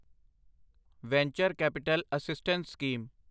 venture capital assistance scheme